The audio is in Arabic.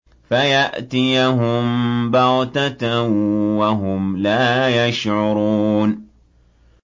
فَيَأْتِيَهُم بَغْتَةً وَهُمْ لَا يَشْعُرُونَ